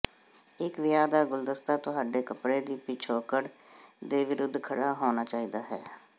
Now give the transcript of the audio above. ਇੱਕ ਵਿਆਹ ਦਾ ਗੁਲਦਸਤਾ ਤੁਹਾਡੇ ਕੱਪੜੇ ਦੀ ਪਿਛੋਕੜ ਦੇ ਵਿਰੁੱਧ ਖੜਾ ਹੋਣਾ ਚਾਹੀਦਾ ਹੈ